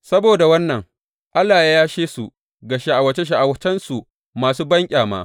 Saboda wannan, Allah ya yashe su ga sha’awace sha’awacensu masu banƙyama.